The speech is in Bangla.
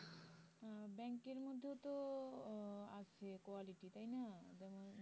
ব্যাংকের মধ্যেও তো আছে আহ quality তাই না যেমন